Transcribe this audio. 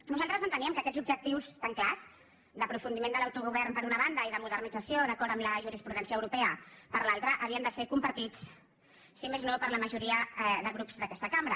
nosaltres enteníem que aquests objectius tan clars d’aprofundiment de l’autogovern per una banda i de modernització d’acord amb la jurisprudència europea per l’altra havien de ser compartits si més no per la majoria de grups d’aquesta cambra